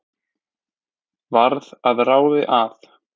Varð að ráði að